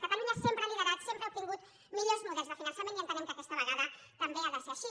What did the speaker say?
catalunya sempre ha liderat sempre ha obtingut millors models de finançament i entenem que aquesta vegada també ha de ser així